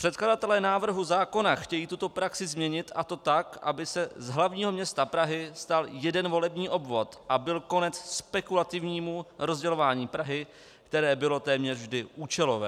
Předkladatelé návrhu zákona chtějí tuto praxi změnit, a to tak, aby se z hlavního města Prahy stal jeden volební obvod a byl konec spekulativnímu rozdělování Prahy, které bylo téměř vždy účelové.